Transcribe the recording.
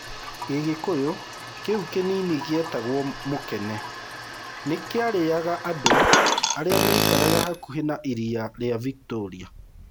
Gĩgĩkũyũ kĩu kĩnini gĩetagwo mukene, nĩ kĩarĩaga andũ arĩa maikaraga hakuhĩ na iria rĩa Victoria.